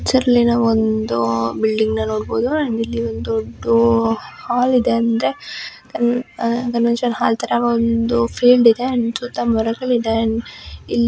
picture ನಲ್ಲಿ ಒಂದು building ನ ನೋಡಬಹುದು ಅಂಡ್ ಇಲ್ಲಿ ಒಂದು ದೊಡ್ದು ಹಾಲ್ ಇದೆ ಅಂದ್ರೆ ಆ ಕನ್ವೆನ್ಷನ್ ಹಾಲ್ ಥರ ಒಂದು ಫೀಲ್ಡ್ ಇದೆ ಅಂಡ್ ಸುತ್ತ ಮರಗಳು ಇದೆ ಅಂಡ್ --